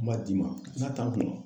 Ma d'i ma n'a t'a kunna.